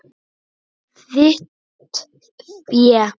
Þitt fé.